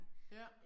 Ja